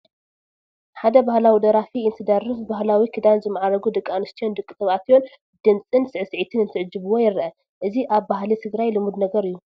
ሓደ ባህላ ደራፊ እንትደርፍ ብባህላዊ ክዳን ዝማዕረጉ ደቂ ኣንስትዮን ደቂ ተባዕትዮን ብድምፅን ስዕስዒትን እንትዕጅብዎ ይርአ፡፡ እዚ ኣብ ባህሊ ትግራይ ልሙድ ነገር እዩ፡፡